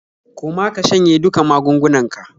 Koma ka shanye duka magungunnanka.